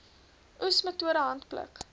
oes metode handpluk